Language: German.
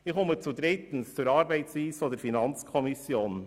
Ich komme als Drittes zur Arbeitsweise der FiKo.